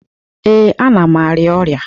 Ee, ana m arịa ọrịa.